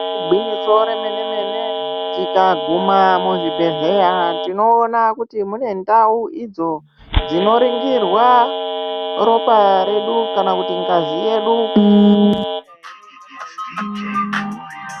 Igwinyiso remenemene tikaguma muzvibhehleya tinoona kuti mune ndau idzo dzinoringirwa ropa redu kana kuti ngazi yedu.